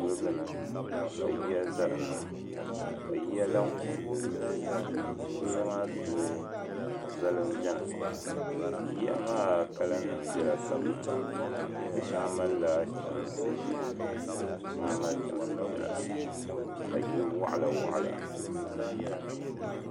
Kuligini ka yiya za dinni ka yiya lahi ko n gilili kuliga maa duli zoli m be ni yiya maa kala nima bela tabni di shɛŋa malila chɛmsi ʒehi ka shɛŋa mali chɛmsi piɛla ka yili waɣila waɣala pahi.